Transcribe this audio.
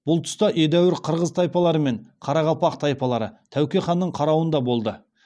бұл тұста едәуір қырғыз тайпалары мен қарақалпақ тайпалары тәуке ханның қарауында болды